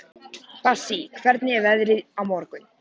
Bassí, hvernig er veðrið á morgun?